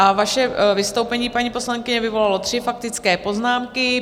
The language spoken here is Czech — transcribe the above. A vaše vystoupení, paní poslankyně, vyvolalo tři faktické poznámky.